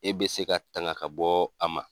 E bɛ se ka tanga ka bɔ a ma.